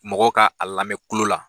Mɔgɔ ka a lamɛn kulo la